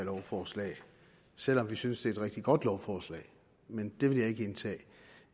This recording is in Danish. lovforslag selv om vi synes et rigtig godt lovforslag men det vil jeg ikke indtage